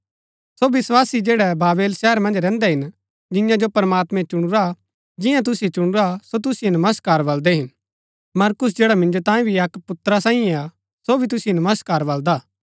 सो विस्वासी जैड़ै बाबेल शहर मन्ज रैहन्दै हिन जिन्या जो प्रमात्मैं चुणुरा जिन्या तुसिओ चुणुरा सो तुसिओ नमस्कार बलदै हिन मरकुस जैड़ा मिन्जो तांये भी अक्क पुत्रा सांईये हा सो भी तुसिओ नमस्कार बलदा हा